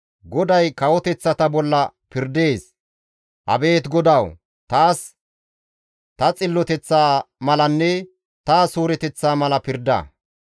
GODAY kawoteththata bolla pirdees. Abeet GODAWU! Taas ta xilloteththa malanne ta suureteththa mala pirda.